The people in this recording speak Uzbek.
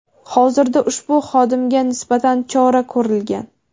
Hozirda ushbu xodimga nisbatan chora ko‘rilgan.